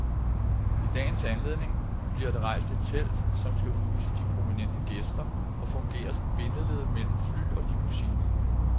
I dagens anledning bliver der rejst et telt, som skal huse de prominente gæster og fungere som bindeled mellem fly og limousiner.